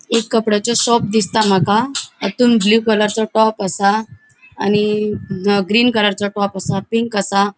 एक कपडाचे शॉप दिसता माका हातून ब्लू कलरचो टॉप आसा आणि अ ग्रीन कलरचो टॉप आसा पिंक आसा.